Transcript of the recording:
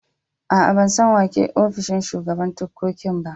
Aa, ban san wa ke a'ofishin shugaban ticcocin ba.